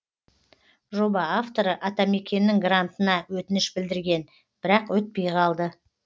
жоба авторы атамекеннің грантына өтініш білдірген бірақ өтпей қалды